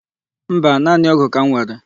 Mba, naanị ọ́gụ̀ ka m were.